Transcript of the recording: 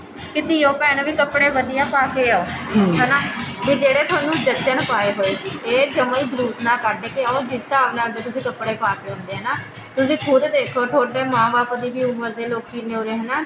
ਕੇ ਧੀਉ ਭੈਣੋ ਵੀ ਕੱਪੜੇ ਵਧੀਆ ਪਾਕੇ ਆਉ ਹਨਾ ਵੀ ਜਿਹੜੇ ਤੁਹਾਨੂੰ ਜਚਨ ਪਾਏ ਹੋਏ ਇਹ ਜਮਾ ਹੀ ਜਲੂਸ ਨਾ ਕੱਢ ਕੇ ਆਉ ਜਿਸ ਹਿਸਾਬ ਦੇ ਤੁਸੀਂ ਕੱਪੜੇ ਪਾਕੇ ਆਉਂਦੇ ਹਨਾ ਤੁਸੀਂ ਖੁਦ ਦੇਖੋ ਤੁਹਾਡੇ ਮਾਂ ਬਾਪ ਦੀ ਵੀ ਉਮਰ ਦੇ ਲੋਕੀ ਨੇ ਉਰੇ ਹਨਾ